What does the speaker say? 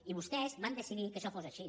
i vostès van decidir que això fos així